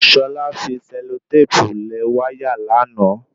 Ṣọlá fi sẹlotépù lẹ̀ wáyà lánàá